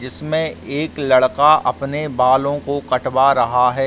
जिसमें एक लड़का अपने बालों को कटवा रहा है।